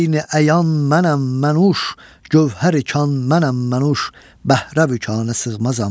Eyn-i əyan mənəm, mən `uş, gövhər-i kan mənəm, mən `uş, bəhr-ü vukana sığmazam.